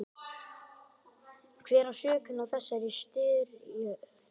Hver á sökina á þessari styrjöld?